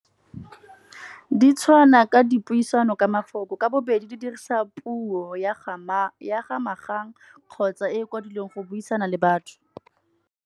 Di tshwana ka dipuisano ka mafoko ka bobedi di dirisa puo ya ga magang, kgotsa e kwadilweng go buisana le batho.